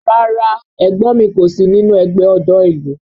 Rárá ẹ̀gbọ́n mi kò sí nínú ẹgbẹ́ ọ̀dọ́ ìlú